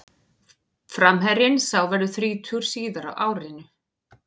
Framherjinn sá verður þrítugur síðar á árinu.